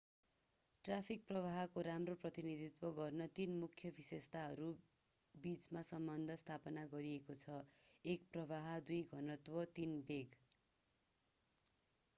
Traffic प्रवाहको राम्रो प्रतिनिधित्व गर्न तीन मुख्य विशेषताहरू बीच सम्बन्ध स्थापित गरिएको छ: 1 प्रवाह 2 घनत्व र 3 वेग।